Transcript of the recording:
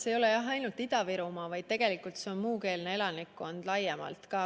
See probleem ei ole ainult Ida-Virumaal, tegelikult puudutab see muukeelset elanikkonda laiemalt.